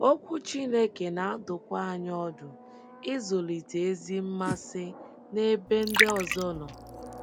Okwu Chineke na - adụkwa anyị ọdụ ịzụlite ezi mmasị n’ebe ndị ọzọ nọ.